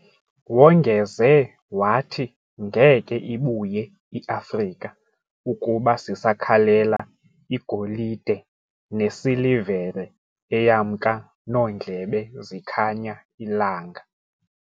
Wongeze wathi ngeke ibuye I Afrika ukuba sisakhalela igolide ne silivere eyamnka noondlebe zikhanya ilanga